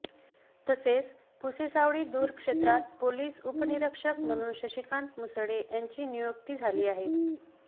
तसेच पुसेसावळी दूरक्षेत्रात पोलीस उपनिरीक्षक म्हणून शशिकांत मुसळे यांची नियुक्ती झाली आहे